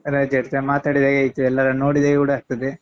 ರಜೆ ಇರ್ತದೆ ಮಾತಾಡಿದ ಹಾಗೆ ಆಯ್ತು ಎಲ್ಲರನ್ನೂ ನೋಡಿದ ಹಾಗೆ ಕೂಡ ಆಗ್ತದೆ.